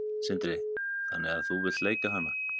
Sindri: Þannig að þú vilt leika hana?